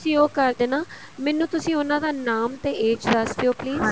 ਤੁਸੀਂ ਉਹ ਕਰ ਦੇਣਾ ਮੈਨੂੰ ਤੁਸੀਂ ਉਹਨਾ ਦਾ ਨਾਮ ਤੇ age ਦੱਸ ਦਿਓ please